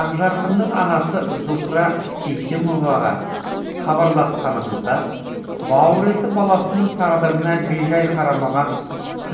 ақжарқынның анасы зухра сейтімоваға хабарласқанымызда бауыр еті баласының тағдырына бейжай қарамаған